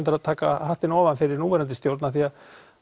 taka hattinn ofan fyrir núverandi stjórn því